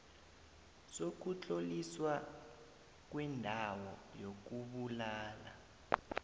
sokutloliswa kwendawo yokubulala